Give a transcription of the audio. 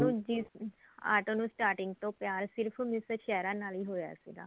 ਨੂੰ ਜਿਸ ਆਟੋ ਨੂੰ starting ਤੋਂ ਪਿਆਰ ਸਿਰਫ miss ਸ਼ਹਿਰਾ ਨਾਲ ਹੀ ਹੋਇਆ ਸੀਗਾ